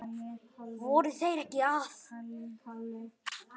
Voru þeir ekki að?